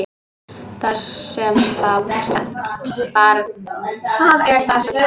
Það er það sem þarf.